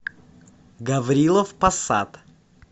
гаврилов посад